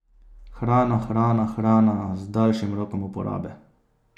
Hrana, hrana, hrana z daljšim rokom uporabe.